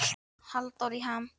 Halldór í ham